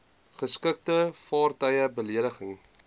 geskikte vaartuie belegging